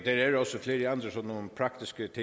forskel